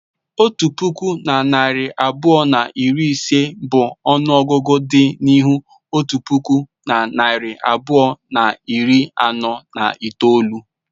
Otu puku na narị abụọ na iri ise bụ ọnụ ọgụgụ dị n'ihu otu puku na narị abụọ na iri anọ na itoolu.